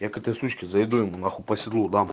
я к этой сучке зайду я ему нахуй по седлу дам